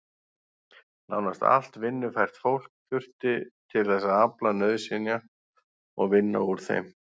Nánast allt vinnufært fólk þurfti til þess að afla nauðsynja og vinna úr þeim.